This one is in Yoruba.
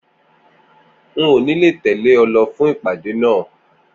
N ò ní lè tèlé o lo fún ìpàdé náà